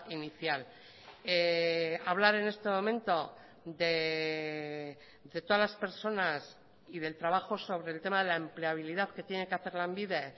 inicial hablar en este momento de todas las personas y del trabajo sobre el tema de la empleabilidad que tiene que hacer lanbide